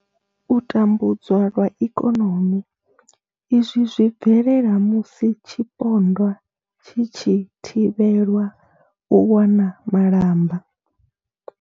U tambudzwa lwa ikonomi izwi zwi bvelela musi tshipondwa tshi tshi thivhelwa u wana malamba.